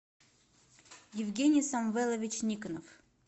евгений самвелович никонов